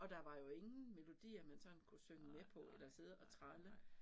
Og der var jo ingen melodier man sådan kunne synge med på eller sidde og tralle